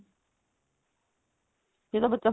ਫੇਰ ਤਾਂ ਬੱਚਾ